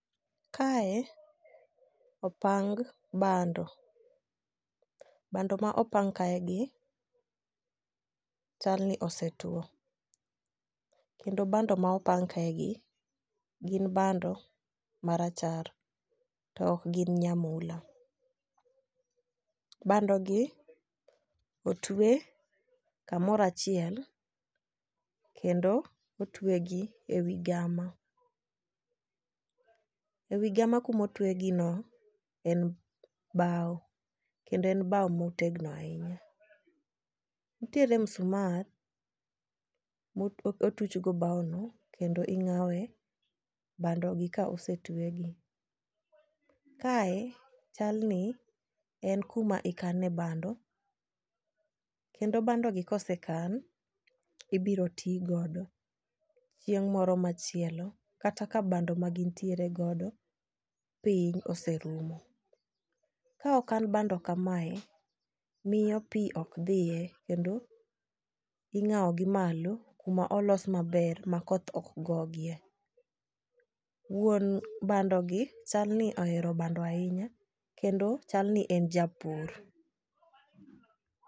Kae opang bando bando ma opang kae gi chal ni osetwo kendo bando ma opang kae gi gin bando marachar tok gin nyamula. Bando gi otwe kamorachiel kendo otwe gi e wi gama . Ewi gama kamotwegi no en bawo kendo en bawo motegno ahinya. Nitiere musmal mo motuch go bawo no kendo ing'awe bando gi kosetwegi. Kae chal ni en kuma ikane bando kendo bando gi kosekan ibiro tii godo chieng' moro machielo kata ka bando ma gintiere godo piny oserumo. Ka okan bando kamae , miyo pii ok dhiye kendo ing'awo gi malo kuma ong'aw maber ma koth ok gogie. Wuon bando gi chalni ohero bando ahinya kendo chal ni en japur.